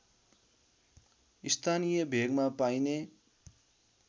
स्थानीय भेगमा पाइने